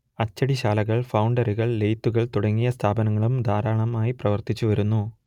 അച്ചടിശാലകൾ ഫൗണ്ടറികൾ ലെയ്ത്തുകൾ തുടങ്ങിയ സ്ഥാപനങ്ങളും ധാരാളമായി പ്രവർത്തിച്ചു വരുന്നു